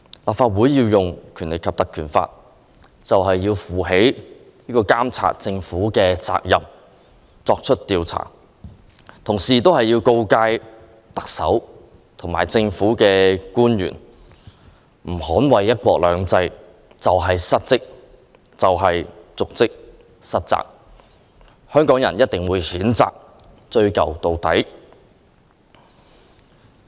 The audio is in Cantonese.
立法會引用《條例》，便是要負起監察政府的責任作出調查，同時告誡特首和政府官員，他們若不捍衞"一國兩制"就是失職、瀆職和失責，香港人定會譴責他們，追究到底。